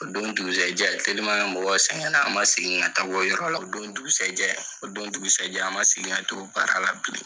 O don dugusɛjɛ teliman mɔgɔw sɛŋɛnna, an ma segin ka taa wo yɔrɔ la. O don dugusɛjɛ, o don dugusɛjɛ an ma segin ka t'o baara la bilen.